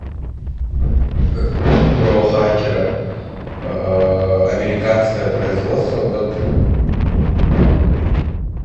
фильм про хакера американское производство год